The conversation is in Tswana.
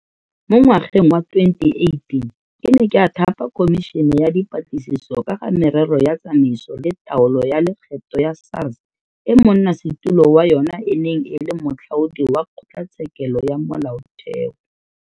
Mo ngwageng wa 2018 ke ne ka thapa Khomišene ya Dipatlisiso ka ga Merero ya Tsamaiso le Taolo ya Lekgetho ya SARS e monnasetulo wa yona e neng e le Moatlhodi wa Kgotlatshekelo ya Molaotheo.